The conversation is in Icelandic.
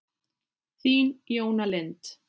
Þín, Jóna Lind.